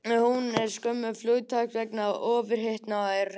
Hún dó skömmu eftir flugtak vegna ofhitnunar og hræðslu.